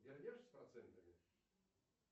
вернешь с процентами